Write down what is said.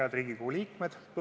Head Riigikogu liikmed!